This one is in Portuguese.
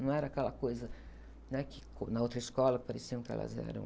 Não era aquela coisa, né? Que, co, na outra escola, pareciam que elas eram...